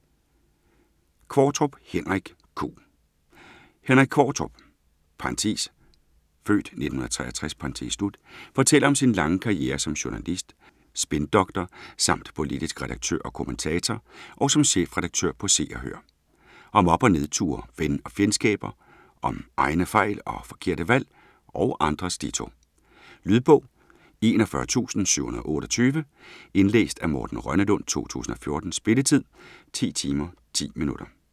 Qvortrup, Henrik: Q Henrik Qvortrup (f. 1963) fortæller om sin lange karriere som journalist, spindoktor samt politisk redaktør og kommentator og som chefredaktør på Se og Hør. Om op- og nedture, ven- og fjendskaber, og om egne fejl og forkerte valg - og andres ditto. Lydbog 41728 Indlæst af Morten Rønnelund, 2014. Spilletid: 10 timer, 10 minutter.